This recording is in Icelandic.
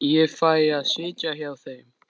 Ég fæ að sitja í hjá þeim.